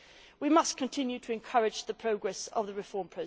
We must continue to encourage the progress of reform.